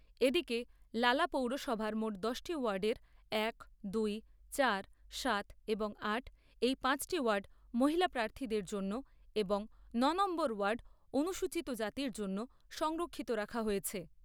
এদিকে লালা পৌরসভার মোট দশটি ওয়ার্ডের এক, দুই, চার, সাত, এবং আট, এই পাঁচটি ওয়ার্ড মহিলা প্রার্থীদের জন্য এবং নয় নম্বর ওয়ার্ড অনুসূচিত জাতির জন্য সংরক্ষিত রাখা হয়েছে।